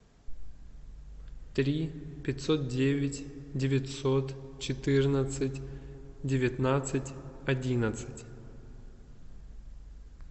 три пятьсот девять девятьсот четырнадцать девятнадцать одиннадцать